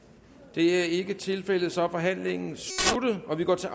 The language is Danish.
det er ikke tilfældet så er forhandlingen sluttet og vi går til